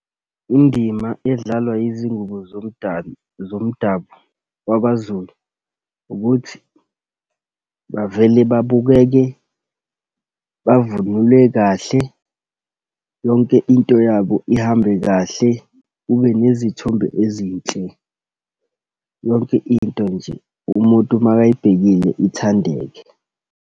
Indima edlalwa izingubo zomdali, zomdabu wakwaZulu ukuthi bavele babukeke bavunule kahle. Yonke into yabo ihambe kahle, kube nezithombe ezinhle. Yonke into nje umuntu uma ayibhekile, ithandeke.